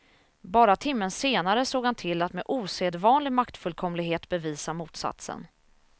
Bara timmen senare såg han till att med osedvanlig maktfullkomlighet bevisa motsatsen.